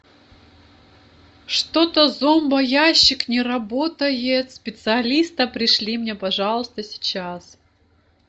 что то зомбоящик не работает специалиста пришли мне пожалуйста сейчас